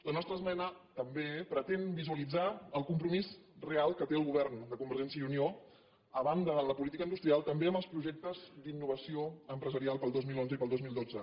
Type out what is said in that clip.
la nostra esmena també pretén visualitzar el compro·mís real que té el govern de convergència i unió a banda de la política industrial també amb els projec·tes d’innovació empresarial per al dos mil onze i per al dos mil dotze